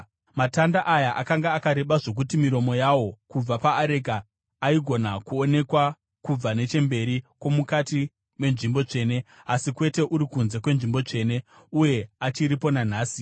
Matanda aya akanga akareba zvokuti miromo yawo, kubva paareka, aigona kuonekwa kubva nechemberi kwomukati menzvimbo tsvene, asi kwete uri kunze kweNzvimbo Tsvene. Uye achiripo nanhasi.